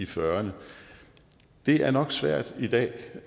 fyrrerne det er nok svært i dag